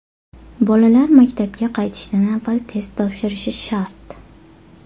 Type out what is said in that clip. Bolalar maktabga qaytishdan avval test topshirishi shart.